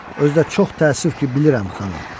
Özü də çox təəssüf ki, bilirəm, xanım.